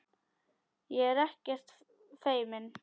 Ég er ekkert feimin.